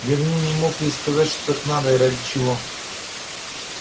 верней не мог ей сказать что так надо и ради чего